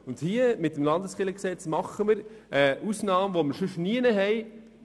Mit dem Landeskirchengesetz schaffen wir eine Ausnahme, die es sonst nirgends gibt.